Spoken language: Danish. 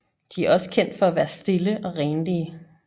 De er også kendt for at være stille og renlige